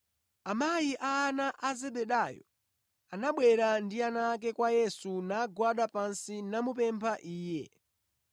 Amayi a ana a Zebedayo anabwera ndi ana ake kwa Yesu, nagwada pansi namupempha Iye.